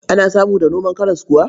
Ana samu da noman karas kuwa.